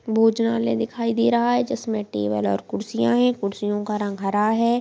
भोजनालय दिखाई दे रहा है जिसमे टेबल और कुर्सियां है कुर्सियों का रंग हरा है।